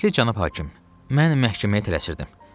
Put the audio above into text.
Hörmətli Cənab hakim, mən məhkəməyə tələsirdim.